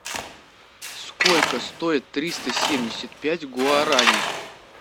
сколько стоит триста семьдесят пять гуарани